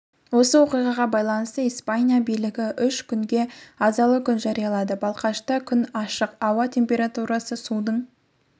осы оқиғаға байланысты испания билігі үш күнге азалы күн жариялады балқашта күн ашық ауа температурасы судың